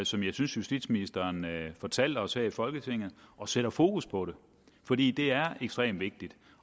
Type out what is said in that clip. som jeg synes justitsministeren fortalte os her i folketinget og sætter fokus på det fordi det er ekstremt vigtigt